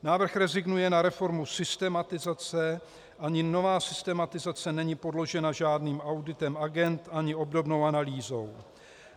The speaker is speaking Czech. Návrh rezignuje na reformu systematizace, ani nová systematizace není podložena žádným auditem agend ani obdobnou analýzou.